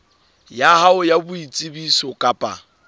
ya hao ya boitsebiso kapa